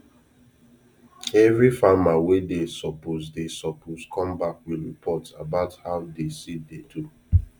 every farmer wey dey suppose dey suppose come back with report about how de seed dey do